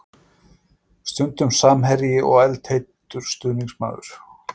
Stundum samherji og eldheitur stuðningsmaður.